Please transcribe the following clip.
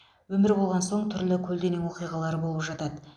өмір болған соң түрлі көлденең оқиғалар болып жатады